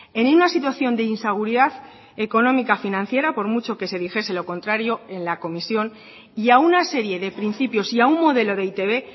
en una situación de inseguridad económica financiera por mucho que se dijese lo contrario en la comisión y a una serie de principios y a un modelo de e i te be